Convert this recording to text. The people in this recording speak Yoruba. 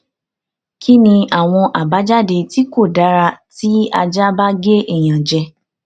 kí ni àwọn àbájáde tí kò dára tí aja ba ge eyan je